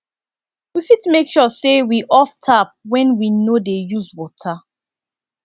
we fit make sure sey we off tap when we no dey use water